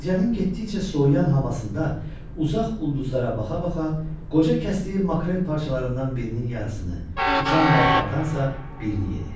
Gecənin getdikcə soyuyan havasında uzaq ulduzlara baxa-baxa, qoca kəsdiyi makrel parçalarından birinin yarısını, uçan balıqlardansa birini yedi.